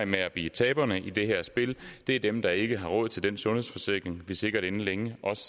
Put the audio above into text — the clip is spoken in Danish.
med at blive taberne i det her spil er dem der ikke har råd til den sundhedsforsikring vi sikkert også inden længe